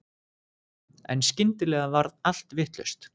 En skyndilega varð allt vitlaust.